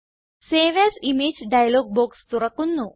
save as image dialog box തുറക്കുന്നു